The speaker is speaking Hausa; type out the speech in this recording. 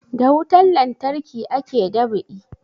Da wutan lantarki ake dab'i